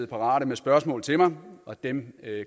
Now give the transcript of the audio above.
parate med spørgsmål til mig og dem